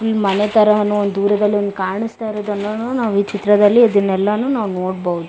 Full ಮನೆತರನು ದೂರದಲಿ ಕಾಣಸ್ತಾ ಇರೋದನ್ನು ನಾವು ಈ ಚಿತ್ರದಲ್ಲಿ ಇದೆಲ್ಲಾನೂ ನಾವು ನೋಡಬಹುದು.